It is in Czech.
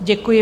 Děkuji.